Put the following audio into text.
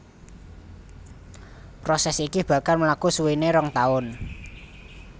Prosès iki bakal mlaku suwéné rong taun